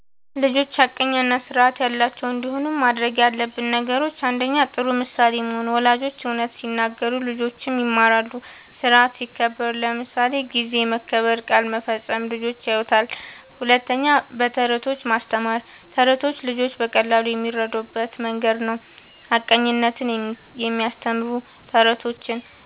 ልጆች ሐቀኛ እና ስርዓት ያላቸው እንዲሆኑ ማድረግ ያለብን ነገሮችን፦ ፩. ጥሩ ምሳሌ መሆን፦ ወላጆች እውነት ሲናገሩ ልጆችም ይማራሉ። ስርዓት ሲከበር (ጊዜ መከበር፣ ቃል መፈጸም) ልጆች ያዩታል። ፪. በተረቶች ማስተማር፦ ተረቶች ልጆች በቀላሉ የሚረዱበት መንገድ ነዉ። ሐቀኝነትን የሚያስተምሩ ተረቶችን